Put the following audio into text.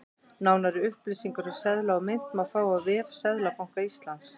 Nánari upplýsingar um seðla og mynt má fá á vef Seðlabanka Íslands.